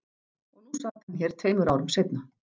Og nú sat hann hér tveimur árum seinna.